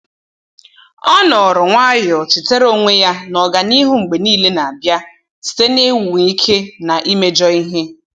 Ọ nọọrọ nwayọ, chetara onwe ya na ọganihu mgbe niile n'abia site na ịnwa ike na imejọ ihe